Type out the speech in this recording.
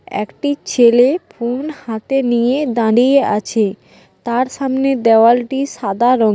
একটি ছেলে ফোন হাতে নিয়ে দাঁড়িয়ে আছে তার সামনে দেওয়ালটি সাদা রং--